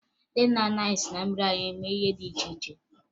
Ndị nna nna anyị si na mmiri anyịm eme ihe dị iche iche